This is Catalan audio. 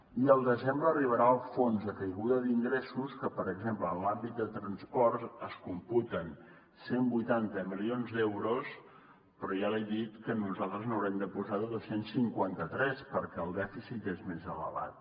i al desembre arribarà el fons de caiguda d’ingressos que per exemple en l’àmbit de transport es computen cent i vuitanta milions d’euros però ja li he dit que nosaltres n’haurem de posar dos cents i cinquanta tres perquè el dèficit és més elevat